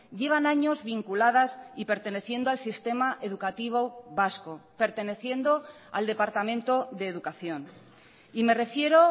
llevan años vinculadas y perteneciendoal sistema educativo vasco perteneciendo al departamento de educación y me refiero